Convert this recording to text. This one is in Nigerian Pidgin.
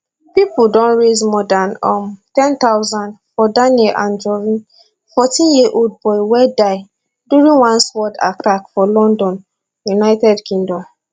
pipo don raise more dan um ten thousand for daniel anjorin fourteen year old boy wey die during one sword attack for london united kingdom